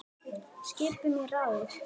Skipun í ráðið er til